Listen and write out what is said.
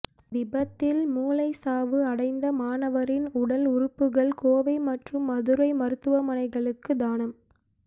விபத்தில் மூளை சாவு அடைந்த மாணவரின் உடல் உறுப்புகள் கோவை மற்றும் மதுரை மருத்துவமனைகளுக்கு தானம்